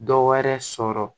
Dɔ wɛrɛ sɔrɔ